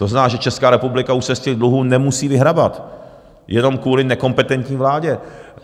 To znamená, že Česká republika už se z těch dluhů nemusí vyhrabat, jenom kvůli nekompetentní vládě.